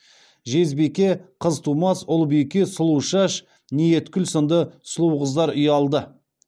жезбике қызтумас ұлбике сұлушаш ниеткүл сынды сұлу қыздар ұялды